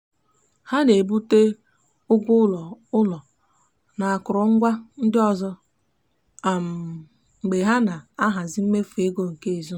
ha na-ebute ụgwọ ụlọ ụlọ na akụrụngwa ndị ọzọ ụzọ mgbe ha na-ahazi mmefu ego nke ezinụụlọ.